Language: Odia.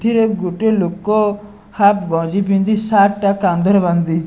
ଥିରେ ଗୋଟିଏ ଲୋକ ହାପ୍ ଗଞ୍ଜି ପିନ୍ଧି ସାର୍ଟ ଟା କାନ୍ଧରେ ବାନ୍ଦେଇ --